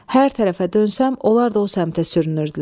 Hər tərəfə dönsəm, onlar da o səmtə sürünürdülər.